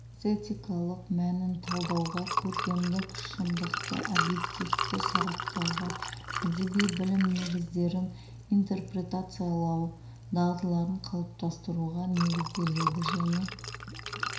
эстетикалық мәнін талдауға көркемдік шындықты объективті сараптауға әдеби білім негіздерін интерпретациялау дағдыларын қалыптастыруға негізделеді және